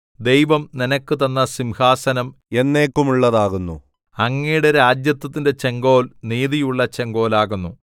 ദൈവം നിനക്കുതന്ന സിംഹാസനം എന്നേക്കുമുള്ളതാകുന്നു അങ്ങയുടെ രാജത്വത്തിന്റെ ചെങ്കോൽ നീതിയുള്ള ചെങ്കോലാകുന്നു